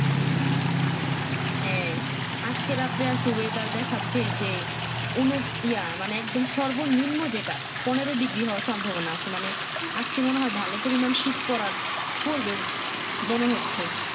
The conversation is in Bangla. হ্যাঁ আজকে রাত্রের oyedar দেখাচ্ছে যে উন ইয়া মানে সর্বো নিম্ন যেটা পনেরো Digri হওয়ার সম্ভবনা আছে মানে আজকে মনে হয় ভালো পরিমান শীত পড়ার পড়বে মনে হচ্ছে